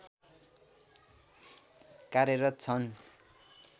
कार्यरत छन्